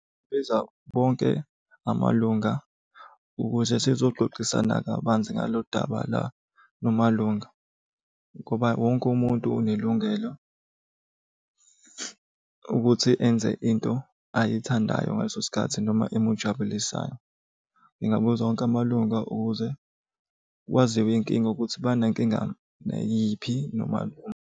Biza bonke amalunga ukuze sizoxoxisana kabanzi ngalo daba la lamalunga, ngoba wonke umuntu unelungelo ukuthi enze into ayithandayo ngaleso sikhathi noma emujabulisayo. Ngingabuza wonke amalunga ukuze kwaziwe inkinga ukuthi banankingani nayiphi noma .